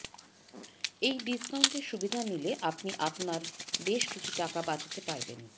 এই ডিস্কাউন্টের সুবিধা নিলে আপনি আপনার বেশ কিছু টাকা বাচাতে পারবেন